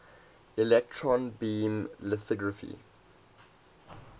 electron beam lithography